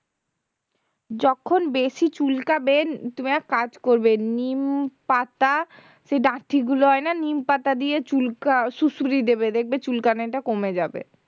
যখন বেশি চুলকাবে তুমি এক কাজ করবে নিমপাতা সেই ডাঁটি গুলো হয় না নিমপাতা দিয়ে চুলকাসুড়সুড়ি দেবে দেখবে চুলকানিটা কমে যাবে